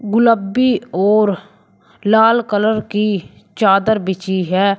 गुलाबी और लाल कलर की चादर बिछी है।